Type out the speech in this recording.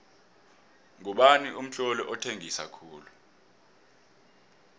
ngubani umtloli othengisa khulu